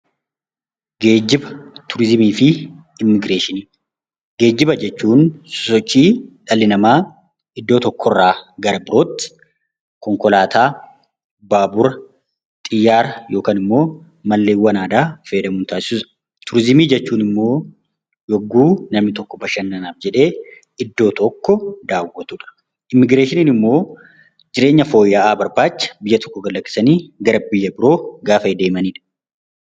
Geejiba turizimii fi immigireeshinii Geejiba jechuun sochii dhalli namaa iddoo tokko irraa gara birootti konkolaataa, baabura xiyyaara yookaan immoo malleewwan aadaa fayyadamuun taasisudha. Turizimii jechuun immoo yemmuu namni tokko bashannanaaf jedhee iddoo tokko daawwatudha. Immigireeshinii immoo jireenya fooyya'aa barbaacha biyya tokko gad lakkisanii gaafa biyya biroo gaafa deemanidha.